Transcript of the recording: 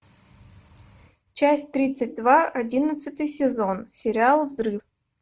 часть тридцать два одиннадцатый сезон сериал взрыв